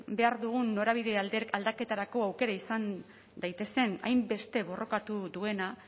behar dugun norabide aldaketarako aukera izan daitezen hainbeste borrokatu duena